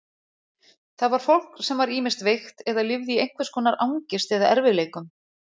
Það var fólk sem var ýmist veikt eða lifði í einhvers konar angist eða erfiðleikum.